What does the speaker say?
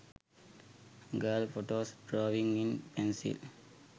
girl photos drawing in pencil